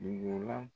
Dugu la